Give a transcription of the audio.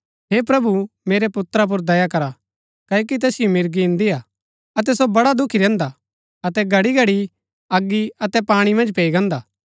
हे प्रभु मेरै पुत्रा पुर दया करा क्ओकि तैसिओ मिर्गी इन्दी हा अतै सो बड़ा दुखी रैहन्दा हा अतै घड़ीघड़ी अगी अतै पाणी मन्ज पैई गान्दा